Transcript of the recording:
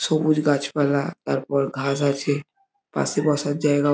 সবুজ গাছপালা তারপর ঘাস আছে পাশে বসর জায়গা ও --